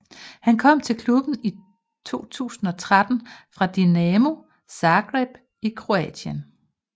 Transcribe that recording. Han kom til klubben i 2013 fra Dinamo Zagreb i Kroatien